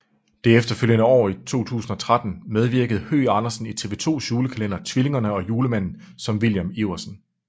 Det efterfølgende år i 2013 medvirkede Høgh Andersen i TV 2s julekalender Tvillingerne og Julemanden som William Iversen